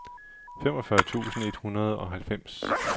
femogfyrre tusind et hundrede og halvfems